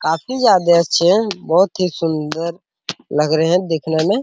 काफी ज्यादा अच्छे है बहुत ही सुन्दर लग रहे है देखने मे --